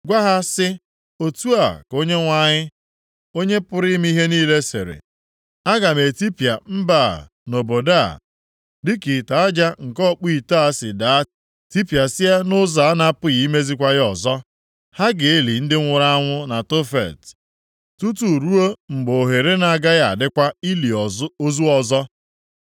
Gwa ha sị, ‘Otu a ka Onyenwe anyị, Onye pụrụ ime ihe niile sịrị: Aga m etipịa mba a na obodo a, dịka ite aja nke ọkpụ ite a si daa tipịasịa nʼụzọ a na-apụghị imezikwa ya ọzọ. Ha ga-eli ndị nwụrụ anwụ na Tofet tutu ruo mgbe ohere na-agaghị adịkwa ili ozu ọzọ.